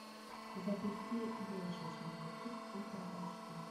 запусти больше чем любовь ультра айч ди